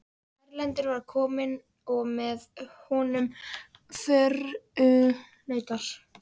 Erlendur var kominn og með honum förunautar.